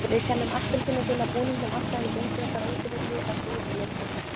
Við kennum appelsínugula búningnum alltaf um gengi okkar á útivelli á síðustu leiktíð.